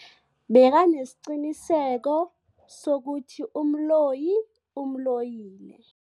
Bekanesiqiniseko sokuthi umloyi umloyile.